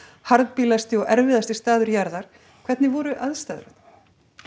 harðbýlasti og erfiðasti staður jarðar hvernig voru aðstæður þarna